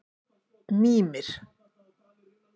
Mímir